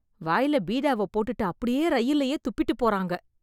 வாய்ல பீடாவ போட்டுட்டு அப்படியே ரயில்லயே துப்பிட்டு போறங்க